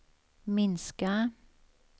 minska